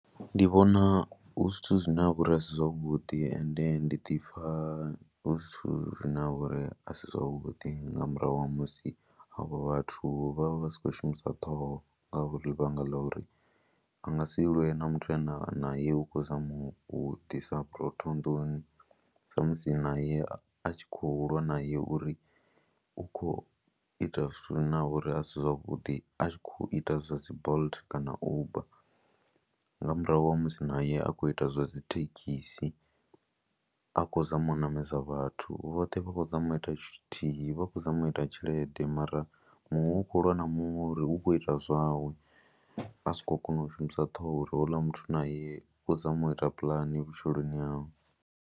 Ndi vhona hu zwithu zwine ha vha uri a si zwavhuḓi ende ndi ḓi pfha hu zwithu zwine ha vha uri a si zwavhuḓi nga murahu ha musi avho vhathu vha vha vha si khou shumisa ṱhoho ngauri ḽivhanga ḽa uri a nga si lwe na muthu ane a naye u khou zama u ḓisa vhurotho nḓuni samusi naye a tshi khou lwa naye uri u khou ita zwithu zwine ha vha uri a si zwavhuḓi a tshi khou ita zwa dzi Bolt kana Uber, nga murahu ha musi naye a khou ita zwa dzi thekhisi, a khou zama u ṋamedza vhathu, vhoṱhe vha khou zama u ita tshithu tshithihi, vha khou zama u ita tshelede mara muṅwe u khou lwa na muṅwe uri u khou ita zwawe a si khou kona u shumisa ṱhoho uri houḽa muthu naye u khou zama u ita pulani vhutshiloni hawe.